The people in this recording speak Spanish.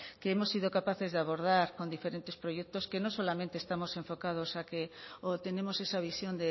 que hemos sido capaces de abordar con diferentes proyectos que no solamente estamos enfocados a que o tenemos esa visión